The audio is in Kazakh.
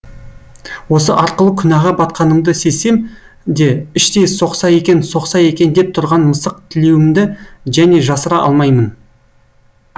осы арқылы күнәға батқанымды сезсем де іштей соқса екен соқса екен деп тұрған мысық тілеуімді және жасыра алмаймын